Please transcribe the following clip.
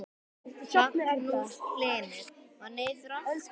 Magnús Hlynur: Og niður aftur?